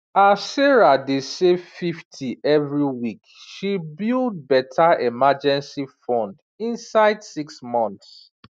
as sarah dey save 50 every week she build better emergency fund inside six months